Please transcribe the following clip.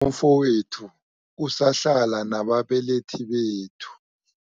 Umfowethu usahlala nababelethi bethu.